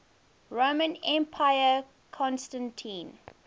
roman emperor constantine